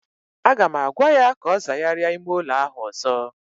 Aga m agwa ya ka ọ zagharịa ime ụlọ ahụ ọzọ!